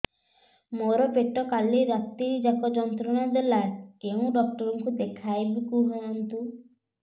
ମୋର ପେଟ କାଲି ରାତି ଯାକ ଯନ୍ତ୍ରଣା ଦେଲା କେଉଁ ଡକ୍ଟର ଙ୍କୁ ଦେଖାଇବି କୁହନ୍ତ